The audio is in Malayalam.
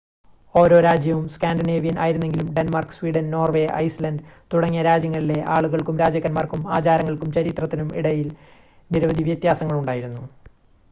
ഓരോ രാജ്യവും സ്കാൻഡിനേവിയൻ ആയിരുന്നെങ്കിലും ഡെൻമാർക്ക് സ്വീഡൻ നോർവേ ഐസ്‌ലാൻ്റ് തുടങ്ങിയ രാജ്യങ്ങളിലെ ആളുകൾക്കും രാജാക്കന്മാർക്കും ആചാരങ്ങൾക്കും ചരിത്രത്തിനും ഇടയിൽ നിരവധി വ്യത്യാസങ്ങൾ ഉണ്ടായിരുന്നു